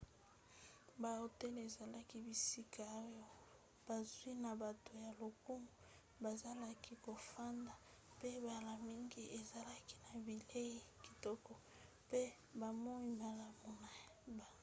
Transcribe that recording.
bahotel ezalaki bisika oyo bazwi na bato ya lokumu bazalaki kofanda mpe mbala mingi ezalaki na bilei kitoko mpe bomoi malamu na butu